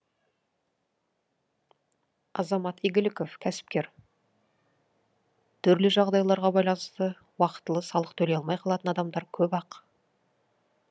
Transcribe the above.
азамат игіліков кәсіпкер түрлі жағдайларға байланысты уақытылы салық төлей алмай қалатын адамдар көп ақ